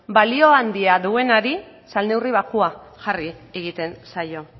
balio handia duenari salneurri baxua jarri egiten zaio